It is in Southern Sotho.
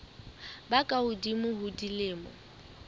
ba ka hodimo ho dilemo